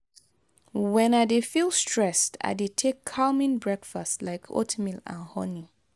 when i dey feel stressed i dey take calming breakfast like oatmeal and honey.